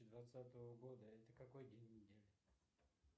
двадцатого года это какой день недели